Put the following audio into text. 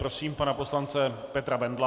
Prosím pana poslance Petra Bendla.